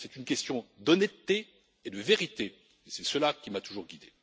C'est une question d'honnêteté et de vérité, et c'est cela qui m'a toujours guidé.